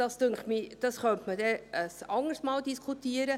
Darüber, so denke ich, könnte man ein anderes Mal diskutieren.